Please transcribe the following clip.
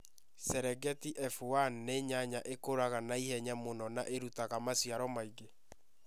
Cerengeti F1 nĩ nyanya ĩkũraga na ihenya mũno na ĩrutaga maciaro maingĩ.